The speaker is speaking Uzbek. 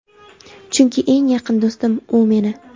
Chunki eng yaqin do‘stim u meni.